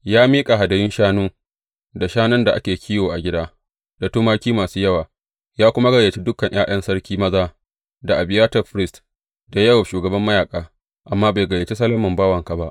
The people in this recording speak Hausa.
Ya miƙa hadayun shanu, da shanun da ake kiwo a gida, da tumaki masu yawa, ya kuma gayyaci dukan ’ya’yan sarki maza, da Abiyatar firist, da Yowab shugaban mayaƙa, amma bai gayyaci Solomon bawanka ba.